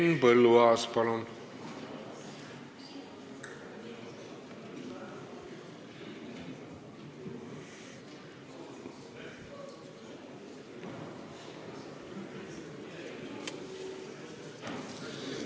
Henn Põlluaas, palun!